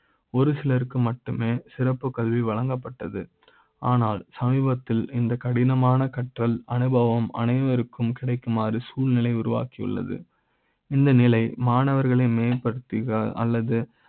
ஒரு சில ருக்கு மட்டுமே சிறப்பு கல்வி வழங்கப்பட்டது ஆனால் சமீப த்தில் இந்த கடினமான கற்றல் அனுபவ ம் அனைவருக்கு ம் கிடைக்குமாறு சூழ்நிலை யை உருவாக்கியுள்ளத . இந்த நிலையில் மாணவர்களை மேம்படுத்த அல்லது